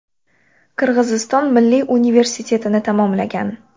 Qirg‘iziston Milliy universitetini tamomlagan.